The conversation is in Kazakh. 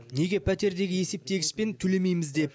неге пәтердегі есептегішпен төлемейміз деп